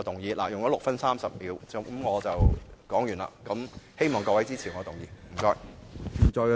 我的發言用了6分30秒，現在發言完畢，希望大家支持我的議案，謝謝。